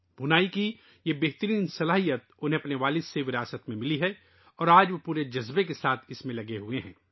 بُنائی کا یہ شاندار ہنر ، انہیں اپنے والد سے وراثت میں ملا ہے اور آج وہ پورے جذبے کے ساتھ اس میں مصروف ہیں